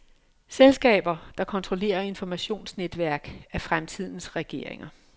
Selskaber, der kontrollerer informationsnetværk, er fremtidens regeringer.